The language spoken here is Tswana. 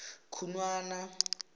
khunwana